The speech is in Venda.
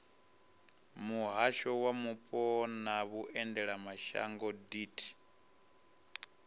muhasho wa mupo na vhuendelamashango deat